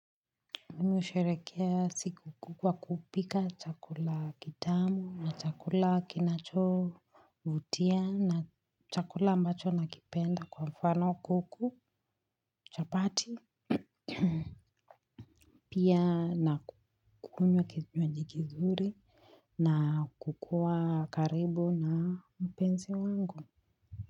Mi husherekea siku kuu kwa kupika chakula kitamu na chakula kinachovutia na chakula ambacho nakipenda kwa mfano kuku chapati pia na ku kunywa kinywaji kizuri na kukuwa karibu na mpensi wangu.